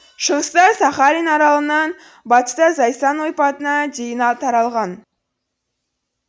шығыста сахалин аралынан батыста зайсан ойпатына дейін таралған